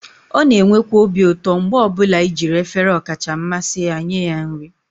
ọ na-enwekwa obi ụtọ mgbe ọ bụla i jiri efere ọkacha mmasị ya nye ya nri